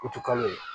Kutu kalo ye